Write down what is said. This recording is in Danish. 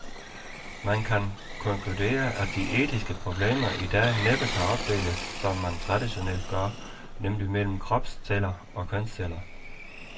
Man kan måske konkludere, at de etiske problemer i dag næppe kan opdeles som man traditionelt gør, nemlig mellem kropsceller og kønsceller.